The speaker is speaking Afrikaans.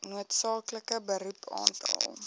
noodsaaklike beroep aantal